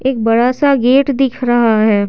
एक बड़ा सा गेट दिख रहा है।